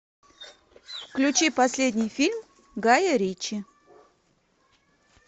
включи последний фильм гая ричи